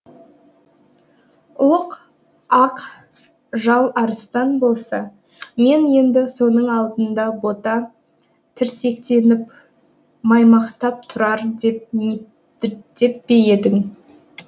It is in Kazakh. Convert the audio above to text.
ұлық ақ жал арыстан болса мен енді соның алдында бота тірсектеніп маймақтап тұрар деп пе едің